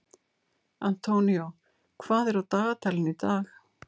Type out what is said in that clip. Antonio, hvað er á dagatalinu í dag?